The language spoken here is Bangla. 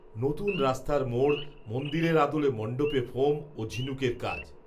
নতুন রাস্তার মোড়, মন্দিরের আদলে মণ্ডপে ফোম, ও ঝিনুকের কাজ